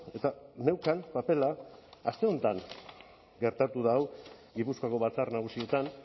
eta neukan papera aste honetan gertatu da hau gipuzkoako batzar nagusietan